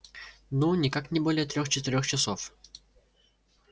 ну никак не больше трех-четырех часов